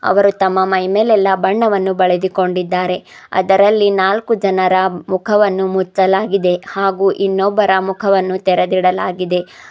ಅವರು ತಮ್ಮ ಮೈಮೇಲೆಲ್ಲಾ ಬಣ್ಣವನ್ನು ಬಳಿದುಕೊಂಡಿದ್ದಾರೆ ಅದರಲ್ಲಿ ನಾಲ್ಕು ಜನರ ಮುಖವನ್ನು ಮುಚ್ಚಲಾಗಿದೆ ಹಾಗೆ ಇನ್ನೊಬ್ಬರ ಮುಖವನ್ನು ತೆರೆದಿಡಲಾಗಿದೆ.